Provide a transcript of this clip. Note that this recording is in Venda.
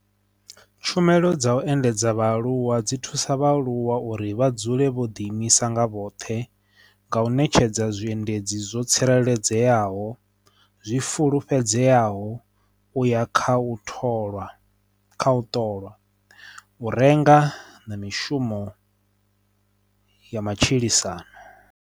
Tshumelo dza u endedza vhaaluwa dzi thusa vha aluwa uri vha dzule vho ḓi imisa nga vhoṱhe nga u ṋetshedza zwiendedzi zwo tsireledzeaho, zwi fulufhedzeaho uya kha u tholwa kha u ṱolwa, u renga na mishumo ya matshilisano.